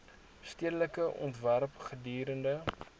stedelike ontwerp gedurende